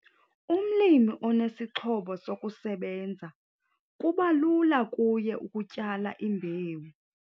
Umlimi onesi sixhobo sokusebenza kuba lula kuye ukutyala imbewu.